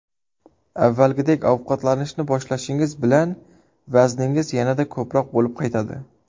Avvalgidek ovqatlanishni boshlashingiz bilan vazningiz yanada ko‘proq bo‘lib qaytadi.